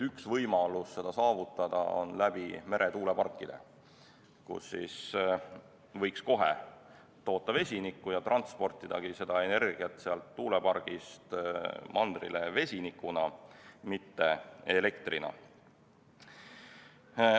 Üks võimalus seda saavutada on kasutada meretuuleparke, kus võiks kohe toota vesinikku ja siis transportidagi seda energiat sealt tuulepargist mandrile vesinikuna, mitte elektrina.